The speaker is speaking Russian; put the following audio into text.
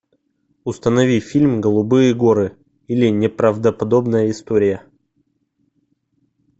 установи фильм голубые горы или неправдоподобная история